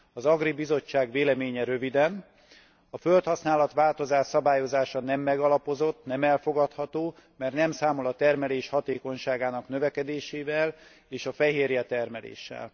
Az AGRI bizottság véleménye röviden a földhasználat változás szabályozása nem megalapozott, nem elfogadható, mert nem számol a termelés hatékonyságának növekedésével és a fehérjetermeléssel.